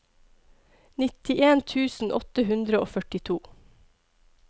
nittien tusen åtte hundre og førtito